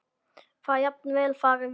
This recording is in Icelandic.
Það gæti jafnvel farið víða.